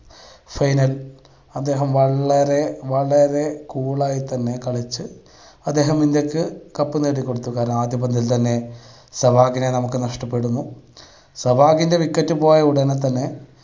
final അദ്ദേഹം വളരെ വളരെ cool ആയി തന്നെ കളിച്ച് അദ്ദേഹം ഇന്ത്യക്ക് cup നേടി കൊടുത്തു. കാരണം ആദ്യ പന്തിൽ തന്നെ സെവാഗിനെ നമുക്ക് നഷ്ടപ്പെടുന്നു, സെവാഗിൻ്റെ wicket പോയ ഉടനെ തന്നെ